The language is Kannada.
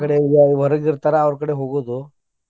ಅಕ್ಕಾ ಕಡೆ ಹೊರಗ ಇರ್ತಾರ ಅವ್ರ ಕಡೆ ಹೋಗುದು.